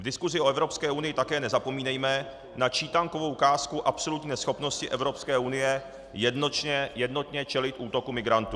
V diskusi o Evropské unii také nezapomínejme na čítankovou ukázku absolutní neschopnosti Evropské unie jednotně čelit útoku migrantů.